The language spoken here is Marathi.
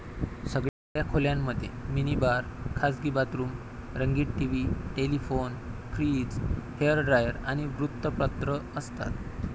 सगळ्या खोल्यांमध्ये मिनी बार, खासगी बाथरूम, रंगीत TV, telephone, fridge, hair dryer, आणि वृत्तपत्र असतात.